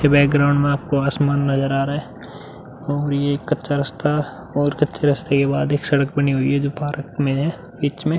ये बैकग्राउंड में आपको आसमान नज़र आ रहा है और ये कच्चा रास्ता और कच्चे रास्ते के बाद एक सड़क बनी हुई है जो पार्क में है बीच में।